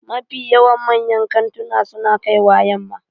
Mafi yawan manyan kantuna su na kaiwa yamma